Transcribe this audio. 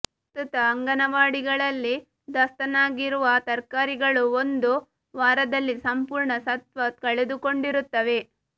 ಪ್ರಸ್ತುತ ಅಂಗನವಾಡಿಗಳಲ್ಲಿ ದಾಸ್ತಾನಾಗಿರುವ ತರಕಾರಿಗಳು ಒಂದು ವಾರದಲ್ಲಿ ಸಂಪೂರ್ಣ ಸತ್ವ ಕಳೆದುಕೊಂಡಿರುತ್ತವೆ